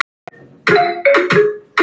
Og hvað þýðir það?